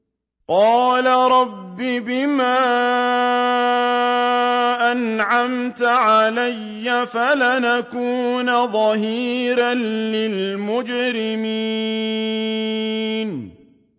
قَالَ رَبِّ بِمَا أَنْعَمْتَ عَلَيَّ فَلَنْ أَكُونَ ظَهِيرًا لِّلْمُجْرِمِينَ